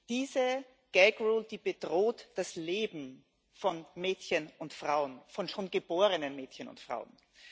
Diese Gag Rule bedroht das Leben von Mädchen und Frauen, von schon geborenen Mädchen und Frauen.